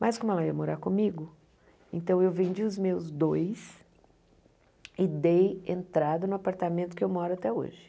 Mas como ela ia morar comigo, então eu vendi os meus dois e dei entrada no apartamento que eu moro até hoje.